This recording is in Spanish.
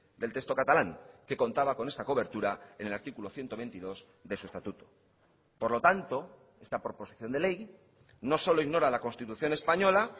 del texto catalán que contaba con esta cobertura en el artículo ciento veintidós de su estatuto por lo tanto esta proposición de ley no solo ignora la constitución española